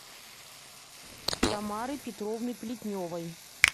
тамары петровны плетневой